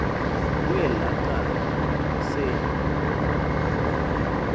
kwelaa cala se